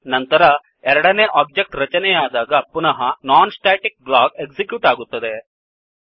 ನಂತರ ಎರಡನೇ ಒಬ್ಜೆಕ್ಟ್ ರಚನೆಯಾದಾಗ ಪುನಃ non ಸ್ಟಾಟಿಕ್ blockನಾನ್ ಸ್ಟ್ಯಾಟಿಕ್ ಬ್ಲಾಕ್ ಎಕ್ಸಿಕ್ಯೂಟ್ ಆಗುತ್ತದೆ